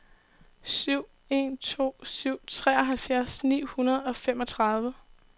syv en to syv treoghalvfjerds ni hundrede og femogtredive